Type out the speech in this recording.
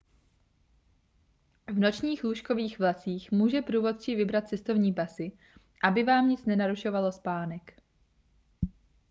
v nočních lůžkových vlacích může průvodčí vybrat cestovní pasy aby vám nic nenarušovalo spánek